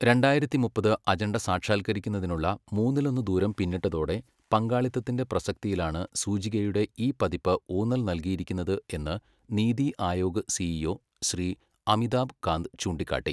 രണ്ടായിരത്തി മുപ്പത് അജണ്ട സാക്ഷാൽക്കരിക്കുന്നതിനുള്ള മൂന്നിലൊന്ന് ദൂരം പിന്നിട്ടതോടെ പങ്കാളിത്തത്തിന്റെ പ്രസക്തിയിലാണ് സൂചികയുടെ ഈ പതിപ്പ് ഊന്നൽ നൽകിയിരിക്കുന്നത് എന്ന് നീതി ആയോഗ് സിഈഒ ശ്രീ അമിതാഭ് കാന്ത് ചൂണ്ടിക്കാട്ടി.